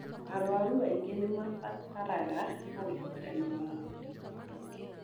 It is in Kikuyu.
Arũaru aingĩ nĩ maabataraga ũrigitani wa mĩtũkĩ.